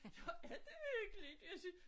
Nå er det virkelig jeg synes